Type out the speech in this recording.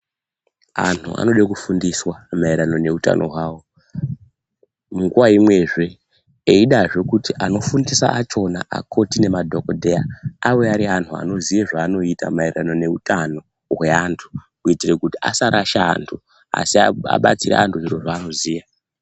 Antu anoda kufundiswa maererano neutano hwavo nguva imwezve eidazve kuti anofundisa achona akoti nemadhokodheya ave ari anhu anoziye zvaanoita maererano neutano hweantu kuita kuti asarasha antu asiabatsira antu zviro zvaanoziya.